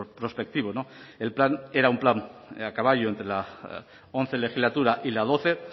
prospectivos el plan era un plan a caballo entre la once legislatura y la doce